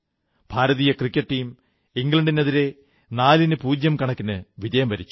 ഭാരതീയ cricket team ഇംഗ്ളണ്ടിനെതിരെ നാലിന് പൂജ്യം കണക്കിന് വിജയം വരിച്ചു